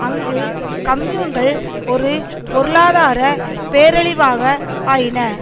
அங்கு கம்யூன்கள் ஒரு பொருளாதார பேரழிவாக ஆயின